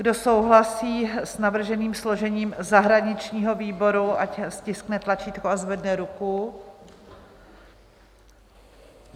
Kdo souhlasí s navrženým složením zahraničního výboru, ať stiskne tlačítko a zvedne ruku.